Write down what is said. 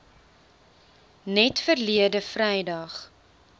net verlede vrydag